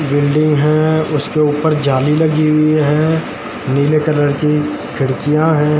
Building है उसके ऊपर जाली लगी हुई है नीले कलर की खिडकियां है।